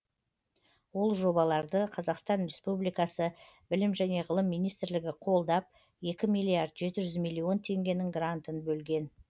ол жобаларды қазақстан республикасы білім және ғылым министрлігі қолдап екі миллиард жеті жүз миллион теңгенің грантын бөлген